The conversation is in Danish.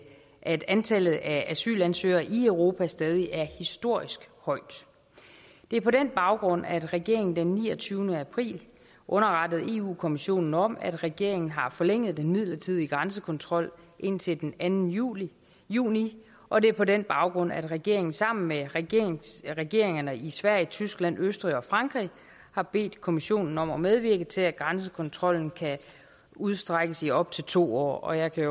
at antallet af asylansøgere i europa stadig er historisk højt det er på den baggrund at regeringen den niogtyvende april underrettede europa kommissionen om at regeringen har forlænget den midlertidige grænsekontrol indtil den anden juni juni og det er på den baggrund at regeringen sammen med regeringerne i sverige tyskland østrig og frankrig har bedt kommissionen om at medvirke til at grænsekontrollen kan udstrækkes i op til to år jeg kan